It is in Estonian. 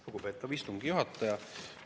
Lugupeetav istungi juhataja!